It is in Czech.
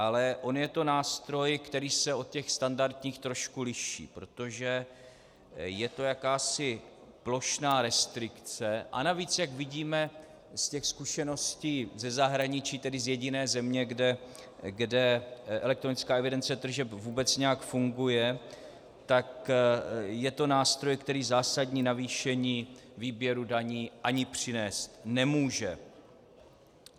Ale on je to nástroj, který se od těch standardních trošku liší, protože je to jakási plošná restrikce, a navíc, jak vidíme z těch zkušeností ze zahraničí, tedy z jediné země, kde elektronická evidence tržeb vůbec nějak funguje, tak je to nástroj, který zásadní navýšení výběru daní ani přinést nemůže.